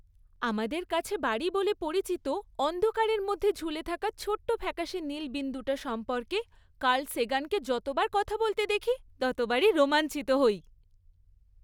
আমাদের কাছে বাড়ি বলে পরিচিত অন্ধকারের মধ্যে ঝুলে থাকা ছোট্ট ফ্যাকাশে নীল বিন্দুটা সম্পর্কে কার্ল সেগানকে যতবার কথা বলতে দেখি ততবারই রোমাঞ্চিত হই।